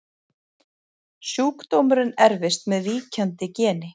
Sjúkdómurinn erfist með víkjandi geni.